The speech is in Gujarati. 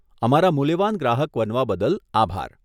અમારા મૂલ્યવાન ગ્રાહક બનવા બદલ આભાર.